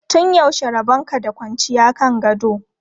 Tun yaushe rabon ka da kwanciya kan gado?